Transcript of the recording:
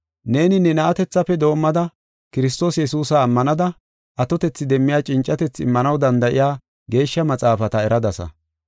Neeni ne na7atethafe doomada Kiristoosa Yesuusa ammanada, atotethi demmiya cincatethi immanaw danda7iya Geeshsha Maxaafata eradasa.